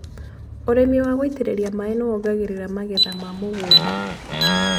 ũrĩmi wa gũitĩrĩria maĩ nĩ wongagĩrĩra magetha ma mũgunda.